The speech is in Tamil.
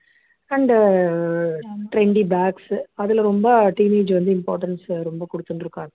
and trendy bags சு அதுல ரொம்ப teenage வந்து importance ரொம்ப கொடுத்துனு இருக்கா இப்போ